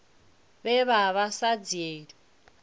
vhe vha vha sa dzhielwi